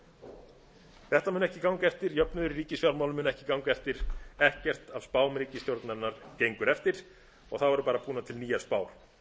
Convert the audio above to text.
hagvexti þetta mun ekki ganga eftir jöfnuður í ríkisfjármálum mun ekki ganga eftir ekkert af spám ríkisstjórnarinnar gengur eftir þá verða bara búnar til nýjar spár